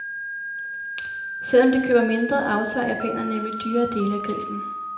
Selvom de køber mindre, aftager japanerne nemlig dyrere dele af grisen.